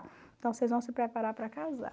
Então vocês vão se preparar para casar.